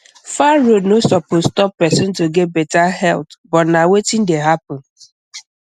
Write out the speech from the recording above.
far road no suppose stop person to get better health but na wetin dey happen